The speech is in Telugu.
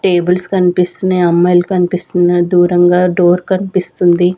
టేబుల్స్ కనిపిస్తూనే అమ్మాయిలు కనిపిస్తున్న దూరంగా డోర్ కనిపిస్తుంది.